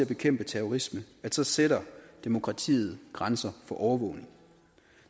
bekæmpe terrorisme så sætter demokratiet grænser for overvågning